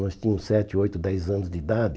Nós tínhamos sete, oito, dez anos de idade.